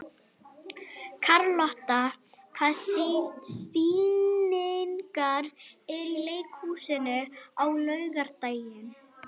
Karlotta, hvaða sýningar eru í leikhúsinu á laugardaginn?